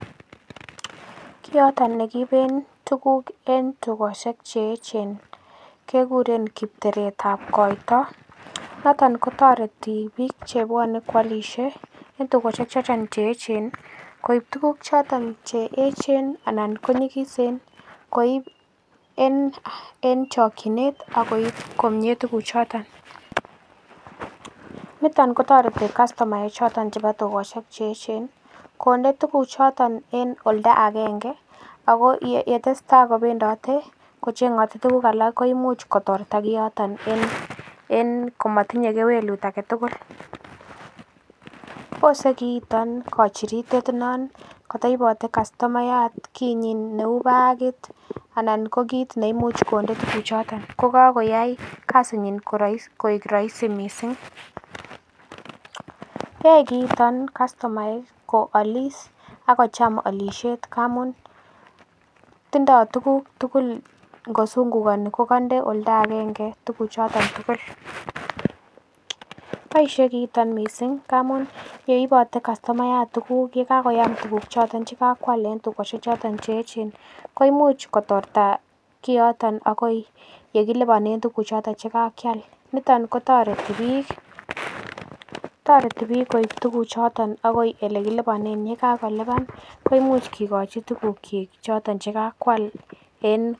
Kit noton ne kiibentuguk en togosiek che echen kiguren kipteretab koito niton kotoreti biik che bwone koalisshe en tugosiek choton che eechen koib tuguk choton che eechen anan konyigisen koib en chokinet ak koib komye tuguk choto. Niton kotoreti kastomaek choton chebo tugosiek che echen konde tuguchoton en oldo agenge ago yetestata kobendote kocheng'ote tuguk alak ko imuch kotorta kiioton en komotinye kewelut age tugul. Bose kiiton kochiritet non kotoibote kastomayat kinyin neu bagit anan ko kiit neimuche konde tuguk choton ko kagoyai kasinyin koik roisi mising. Yoe kiiton kastomaek ko alis ak kocham olisiet ngamun tindo tuguk tugul ngosungukani kogonde oldo agenge tuguchoton tugul. Boishe kiiton mising ngamun yeibote kastomayat tuguk, ye kakoyam tuguk che ibote che kakwal en tugoshek choton che eechen koimuch kotorta kiyoton agoi ye kiliponen tuguchoton che kakyal niton kotoreti biik, toreti biik koib tuguchoton agoi ole kiliponen, ye kagolipan koimuch kigochi tugukyik choton che kakoal.